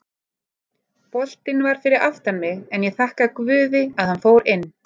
Boltinn var fyrir aftan mig en ég þakka guði að hann fór inn.